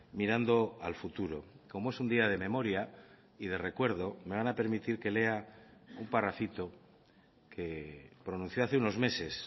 mirando al futuro como es un día de memoria y de recuerdo me van a permitir que lea un parrafito que pronunció hace unos meses